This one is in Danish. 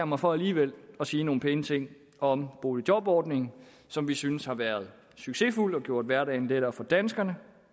mig fra alligevel at sige nogle pæne ting om boligjobordningen som vi synes har været succesfuld og gjort hverdagen lettere for danskerne